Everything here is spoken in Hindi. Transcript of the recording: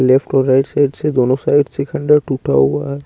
लेफ्ट और राईट साइड से दोनों साइड से खंडर टुटा हुआ है।